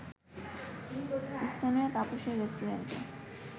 স্থানীয় তাপসের রেস্টুরেন্টে